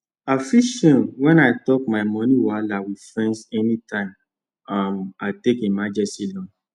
i feel shame when i talk my money wahala with friends anytime um i take emergency loan